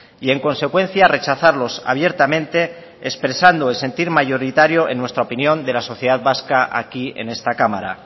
y en consecuencia rechazarlos abiertamente expresando el sentir mayoritario en nuestra opinión de la sociedad vasca aquí en esta cámara